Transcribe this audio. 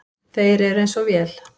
Þeir eru eins og vél.